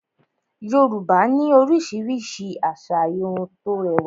Yorùbá ní oríṣiríṣi asà Irun tó rẹwà